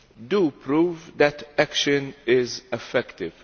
do prove that action is effective.